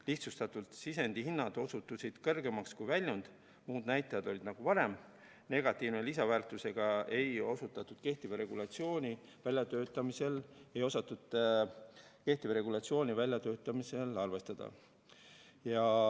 Lihtsustatult: sisendihinnad osutusid kõrgemaks kui väljund, muud näitajad olid nagu varem, negatiivse lisandväärtusega ei osatud kehtiva regulatsiooni väljatöötamisel arvestada.